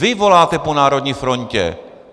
Vy voláte po národní frontě!